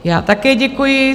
Já také děkuji.